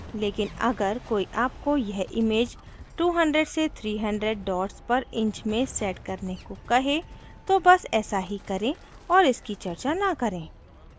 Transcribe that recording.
लेकिन अगर कोई आपको यह image 200 से 300 dots पर inch में set करने को कहे तो but ऐसा ही करें और इसकी चर्चा न करें